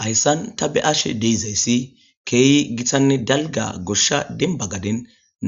Hayssan ta be'ashe deizayssi keeyi gitanne dalga goshsha dembagaden